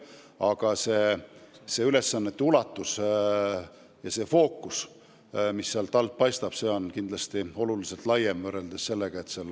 Aga nende ülesannete ulatus on kindlasti märksa laiem ja nende töö fookus on väga tähtis.